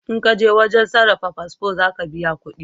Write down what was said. In kaje wajen sarrafa fasfo za ka biya kudi